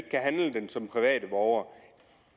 den som privat borger